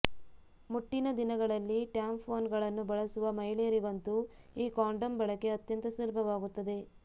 ಮುಟ್ಟಿನ ದಿನಗಳಲ್ಲಿ ಟ್ಯಾಂಪೋನ್ಗಳನ್ನ ಬಳಸುವ ಮಹಿಳೆಯರಿಗಂತೂ ಈ ಕಾಂಡೋಮ್ ಬಳಕೆ ಅತ್ಯಂತ ಸುಲಭವಾಗುತ್ತದೆ